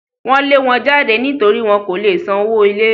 Wọ́n lé wọn jáde nítorí wọn kò lè san owó ilé